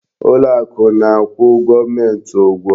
Ụlọ akụ na-akwụ gọọmenti ụgwọ.